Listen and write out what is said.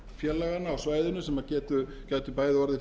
sveitarfélaganna á svæðinu sem gætu bæði orðið